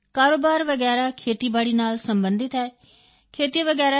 ਕਾਰੋਬਾਰ ਵਗੈਰਾ ਖੇਤੀਬਾੜੀ ਨਾਲ ਸਬੰਧਿਤ ਹੈ ਖੇਤੀ ਵਗੈਰਾ